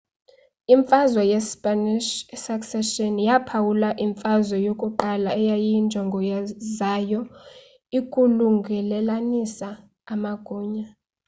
imfazwe ye spanish succession yaphawula imfazwe yokuqala eyayinjongo zayo ikukulungelelanisa amagunya